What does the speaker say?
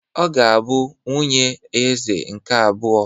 Ọ ga-abụ nwunye Eze nke abụọ.